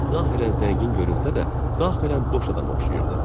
Hərif zahirən zəngin görünsə də, daxilən boş adama oxşayırdı.